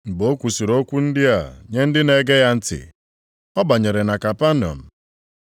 Mgbe o kwusiri okwu ndị a nye ndị na-ege ya ntị, ọ banyere na Kapanọm.